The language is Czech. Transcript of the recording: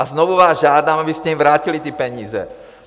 A znovu vás žádám, abyste jim vrátili ty peníze.